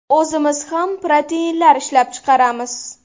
O‘zimiz ham proteinlar ishlab chiqaramiz.